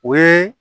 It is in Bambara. O ye